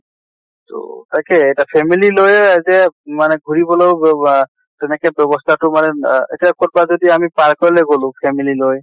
তʼ তাকে এটা family লৈ এতিয়া মানে ঘুৰবলৈ তেনেকে ব্য়ৱস্থাটো মানে না এতিয়া কʼত বা যদি আমি park লৈ গʼলো family লৈ